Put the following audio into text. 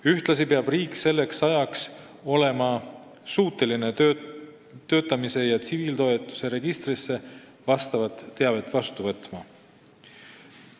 Ühtlasi peab riik selleks ajaks olema suuteline töötamise ja tsiviiltoetuse registris vastavat teavet vastu võtma.